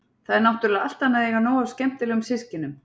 Það er náttúrlega allt annað að eiga nóg af skemmtilegum systkinum.